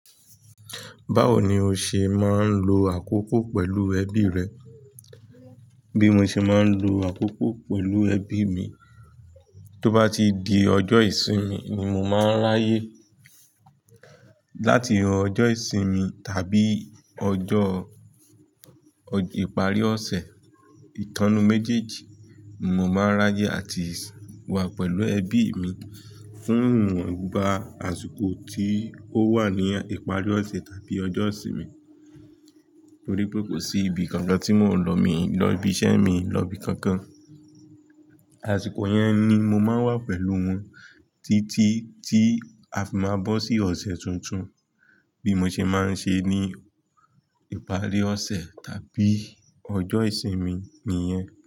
Báwo ni o ṣe máa ń lo àkókò pẹ̀lú ẹbí rẹ? Bí mo ṣe máa ń lo àkókò pẹ̀lú ẹbí mi, tó bá ti di ọjọ́ ìsinmi ni mo máa ń ráyè láti ọjọ́ ìsinmi tàbí ọjọ́ ìparí ọ̀sẹ̀, ìtánnu méjèèjì mo máa ráyè àti wà pẹ̀lú ẹbí mi fún ìwon igba àsìkò tí ó wà ní ìparí ọ̀sẹ̀ tàbí ọjọ́ ìsinmi. Torí pé kò sí ibi kankan tí mò ń lọ mi lọ ibi iṣẹ́ mi, lọ ibi kankan. Àsìkò yẹn ni mo máa ń wà pẹ̀lú wọn títí tí a fi máa bọ́ sí ọ̀sẹ̀ tuntun. Bí mo ṣe máa ń ṣe ní ìparí ọ̀sẹ̀ tàbí ọjọ́ ìsinmi nìyẹn.